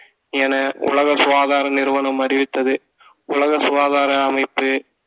என உலக சுகாதார நிறுவனம் அறிவித்தது உலக சுகாதார அமைப்பு